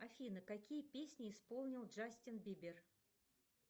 афина какие песни исполнил джастин бибер